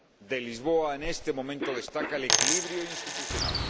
de Lisboa, en este momento destaca el equilibrio institucional.